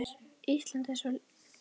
strý var ekki troðið